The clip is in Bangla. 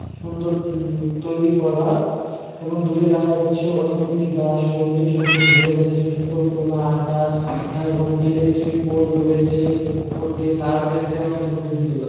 সুন্দর উম তৈরি করা এবং দূরে দেখা যাচ্ছে অনেকগুলি গাছ সবুজে সবুজ ভরে গেছে সুন্দর খোলা আকাশ এবং ইলেকট্রিক পোল রয়েছে। উপর দিয়ে তার গেছে অনেক খুবই সুন্দর লাগ--